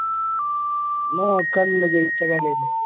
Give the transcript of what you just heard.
നോക്കാൻ ഒന്നും ഇല്ല ജയിച്ച കളി അല്ലെ